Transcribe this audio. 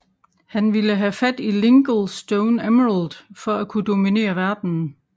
Han vil have fat i Linkle Stone Emerald for at kunne dominere verdenen